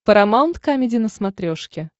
парамаунт камеди на смотрешке